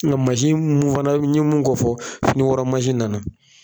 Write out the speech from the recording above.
Ŋa masi n fana ɲe mun kofɔ finiwɔrɔ masi nana.